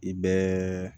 I bɛɛ